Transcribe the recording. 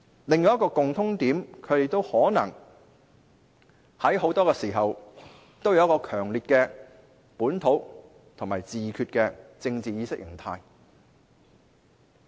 另一個共通點是他們可能在很多時候都有強烈的本土或自決的政治意識形態。